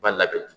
Ba labɛn